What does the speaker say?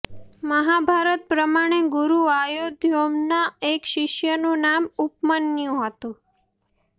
મહાભારત પ્રમાણે ગુરુ આયોદધૌમ્યના એક શિષ્યનું નામ ઉપમન્યું હતું